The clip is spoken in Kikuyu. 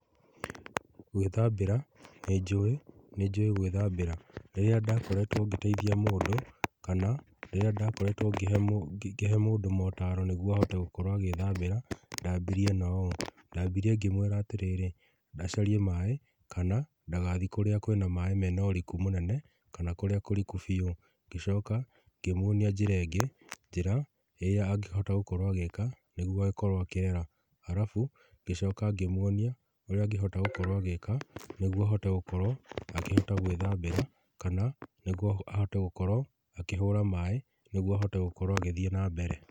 Gwĩthambĩra nĩ njũĩ, nĩ njũĩ gwĩthambĩra rĩrĩa ndakoretwo ngĩteithia mũndũ kana rĩrĩa ndakoretwo ngĩkĩhe mũndũ motaro, nĩguo ahote gwĩthambĩra, ndambirie na ũũ. Ndambire ngĩmwĩra atĩrĩrĩ acarie maaĩ kana ndagathiĩ kũrĩa kwĩna maaĩ mena ũriku mũnene, kana kũrĩa kũriku biũ. Ngĩcoka ngĩmuonia njĩra ĩngĩ njĩra angĩhota gũkorwo agĩka nĩguo akorwo akĩrera, arabu ngĩcoka ngĩmwonia ũrĩa angĩkorwo agĩka nĩ guo ahote gũkorwo akĩhota gwĩthambĩra, kana nĩguo ahote gũkorwo akĩhũra maaĩ nĩguo ahote gũkorwo agĩthiĩ na mbere.